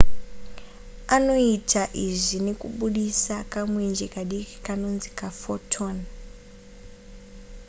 anoita izvi nekubudisa kamwenje kadiki kanonzi ka photon